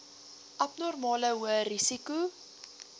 abnormale hoë risiko